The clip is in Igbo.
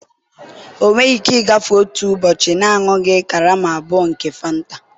ọ nweghị ike ịgafe otu ụbọchị na-aṅụghị karama abụọ nke Fanta